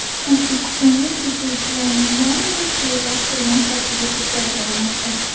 O‘zbekistonda chekuvchilarning yarmi bevaqt o‘lim xavfiga duchor bo‘lmoqda.